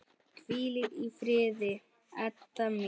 Hvíldu í friði, Edda mín.